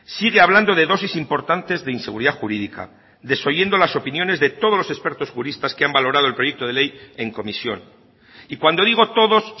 sigue hablando de dosis importantes de inseguridad jurídica desoyendo las opiniones de todos los expertos juristas que han valorado el proyecto de ley en comisión y cuando digo todos